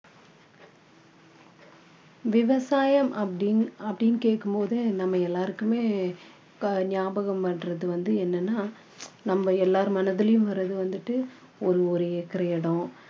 விவசாயம் அப்படின்னு அப்படின்னு கேக்கும் போது நம்ம எல்லாருக்குமே இப்போ ஞாபகம் வர்றது வந்து என்னன்னா நம்ம எல்லார் மனதுலையும் வர்றது வந்துட்டு ஒரு ஒரு acre இடம்